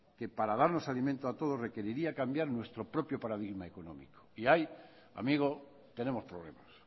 que para darnos alimento a todos requeriría cambiar nuestro propio paradigma económico y ahí amigo tenemos problemas